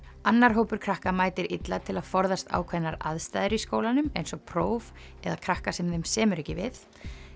annar hópur krakka mætir illa til að forðast ákveðnar aðstæður í skólanum eins og próf eða krakka sem þeim semur ekki við